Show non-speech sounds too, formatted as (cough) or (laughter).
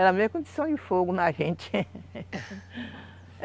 Ela mesmo que um tição de fogo na gente (laughs)